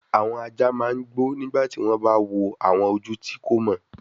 Awọn aja ma n gbo nigba ti wọn ba wo awọn oju ti ko mọ